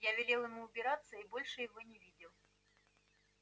я велел ему убираться и больше его не видел